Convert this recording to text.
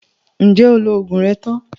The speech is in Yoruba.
Ǹjẹ́ o lo oògùn rẹ tán?